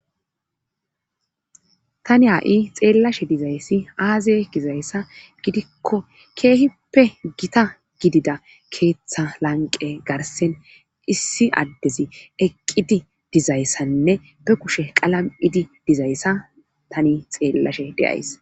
Tani ha7i xeellashe dizayssi aaze gizayssa gidikko keehippe gita gidida keeththa lanqe garsen issi addezi eqqidi dizayssanne be kushe qalam7idi dizayssa tani xeellashe deyays